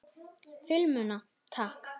Filmuna takk!